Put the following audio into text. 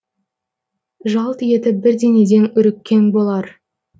жалт етіп бірдеңеден үріккен болар